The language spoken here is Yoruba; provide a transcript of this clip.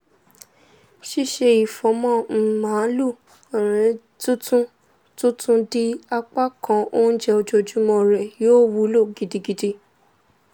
ṣíṣe ifọ̀mọ́ um maalu tuntun tuntun di apakan onjẹ ojoojumọ́ rẹ yóò wúlò gidigidi